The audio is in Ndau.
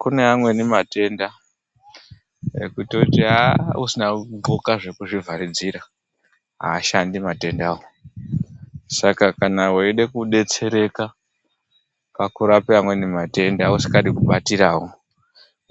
Kune amweni matenda ekuti usina gunhloka zvekuzvidzivirira ashandi matendawo. Saka kana weida kudetsereka pakurapa amweni matenda usingadi kubatirawo